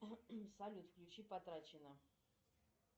салют включи потрачено